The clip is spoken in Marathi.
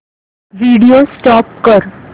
व्हिडिओ स्टॉप कर